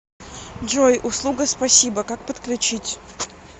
джой услуга спасибо как подключить